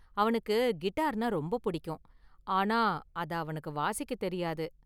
அவனுக்கு கிட்டார்னா ரொம்ப பிடிக்கும், ஆனா அத அவனுக்கு வாசிக்க தெரியாது.